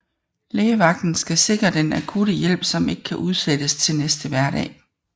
Lægevagten skal sikre den akutte hjælp som ikke kan udsættes til næste hverdag